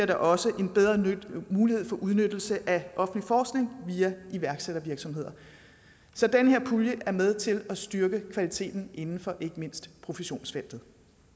der også en bedre mulighed for udnyttelse af offentlig forskning via iværksættervirksomheder så den her pulje er med til at styrke kvaliteten inden for ikke mindst professionsfeltet